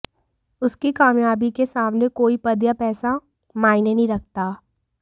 उसकी कामयाबी के सामने कोई पद या पैसा मायने नहीं रखता